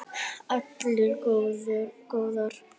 Allar góðar.